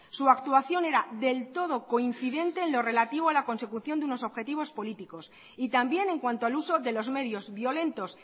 su actuación era del todo coincidente en lo relativo a la consecución de unos objetivos políticos y también en cuanto al uso de los medios violentos